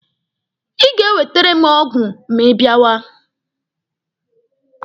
Ị ga-ewetere m ọgwụ ma ị bịawa.